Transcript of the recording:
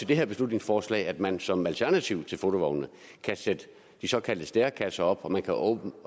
det her beslutningsforslag foreslået at man som alternativ til fotovognene kan sætte de såkaldte stærekasser op og man kan oven